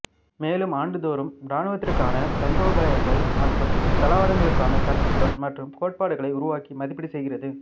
மேலும் ஆண்டுதோறும் இராணுவத்திற்கான தந்திரோபாயங்கள் மற்றும் தளவாடங்களுக்கான கருத்துகள் மற்றும் கோட்பாடுகளை உருவாக்கி மதிப்பீடு செய்கிறது